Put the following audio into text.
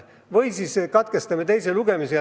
Võime katkestada teise lugemise.